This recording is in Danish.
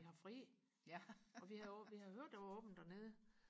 vi har fri og vi havde vi havde hørt der var åbent dernede